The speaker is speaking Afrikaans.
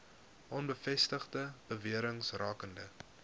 onbevestigde bewerings rakende